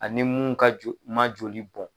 Ani ni mun ka jo man joli bɔn.